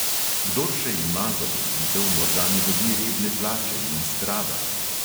Kdor še ima zaposlitev, morda ne dobi redne plače in strada.